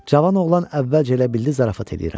Cavan oğlan əvvəlcə elə bildi zarafat eləyirəm.